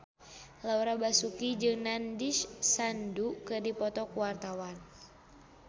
Laura Basuki jeung Nandish Sandhu keur dipoto ku wartawan